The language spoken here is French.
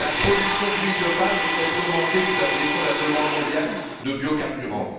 La production d'huile de palme ne cesse d'y augmenter sous la pression de la demande mondiale de biocarburants.